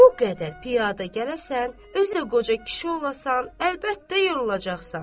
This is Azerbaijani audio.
Bu qədər piyada gələsən, özə qoca kişi olasan, əlbəttə yorulacaqsan.